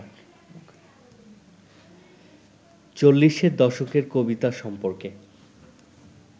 চল্লিশের দশকের কবিতা সম্পর্কে